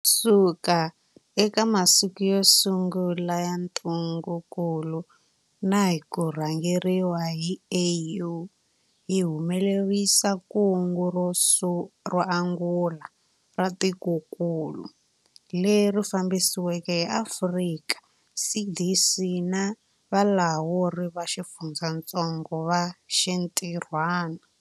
Kusuka eka masiku yo sungula ya ntungukulu na hi ku rhangeriwa hi AU, hi humelerisile kungu ro angula ra tikokulu, leri fambisiweke hi Afrika CDC na valawuri va xifundzatsongo va xintirhwana.